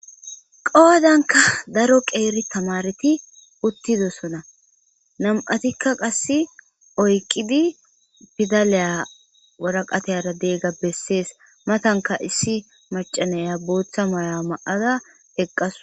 Qoodanka daro qeeri tamareti uttidosona nam'atikka qasse oyqidi fidaliya waraqateyara deegga bessees matanka issi macanaya booththa maya ma'ada eqqaso.